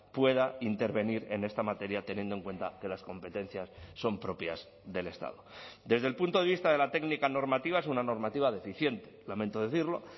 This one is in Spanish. pueda intervenir en esta materia teniendo en cuenta que las competencias son propias del estado desde el punto de vista de la técnica normativa es una normativa deficiente lamento decirlo